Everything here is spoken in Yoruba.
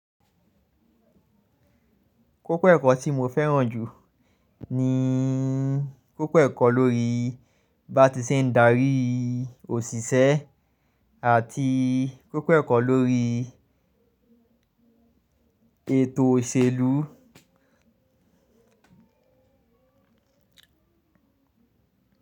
Kókó ẹ̀kọ́ tí mo fẹ́ràn jù ni kókó ẹ̀kọ́ lórí bá ti ṣe ń darí òṣìṣẹ́ àti kókó ẹ̀kọ́ lórí ètò òṣèlú.